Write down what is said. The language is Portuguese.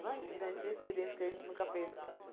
Imagina, a gente tinha experiência que a gente nunca fez.